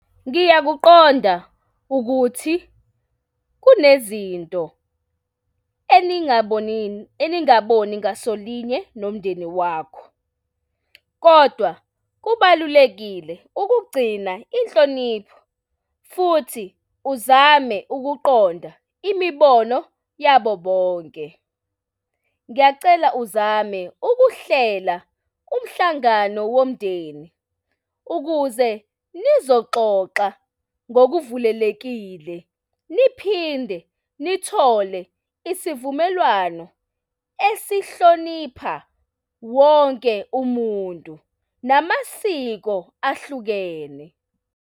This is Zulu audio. Ngiyakuqonda ukuthi kunezinto eningaboni, eningaboni ngasolinye nomndeni wakho, kodwa kubalulekile ukugcina inhlonipho futhi uzame ukuqonda imibono yabo bonke. Ngiyacela uzame ukuhlela umhlangano womndeni ukuze nizoxoxa ngokuvulelekile niphinde nithole isivumelwano esihlonipha wonke umuntu namasiko ahlukene.